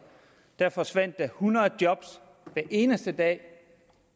der forsvandt hundrede job hver eneste dag